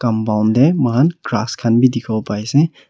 compound teh moikhan grass khan bhi dikhibo pare ase.